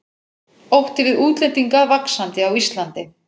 Ótti við útlendinga vaxandi á Íslandi